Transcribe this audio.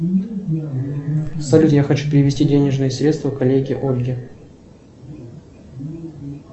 салют я хочу перевести денежные средства коллеге ольге